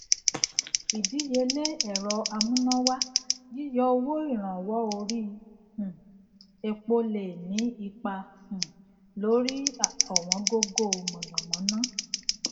ìdíyelé ẹrọ amúnáwá yíyọ owó ìrànwọ orí um epo lè ní ipa um lórí ọwọn gógó mànàmáná